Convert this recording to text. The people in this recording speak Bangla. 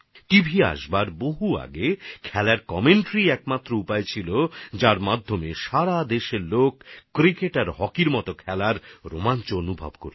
টিভি আসার অনেক আগে খেলার ধারাভাষ্যই শুধু এমন মাধ্যম ছিল যার মাধ্যমে ক্রিকেট আর হকির মতো খেলার রোমাঞ্চ গোটা দেশের মানুষ অনুভব করতেন